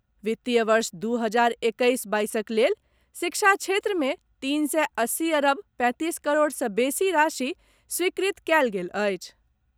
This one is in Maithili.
वित्तीय वर्ष दू हजार एक्कैस बाईसक लेल शिक्षा क्षेत्रमे तीन सए अस्सी अरब पैंतीस करोड़सँ बेसी राशि स्वीकृत कयल गेल अछि।